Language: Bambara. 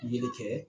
Yelen kɛ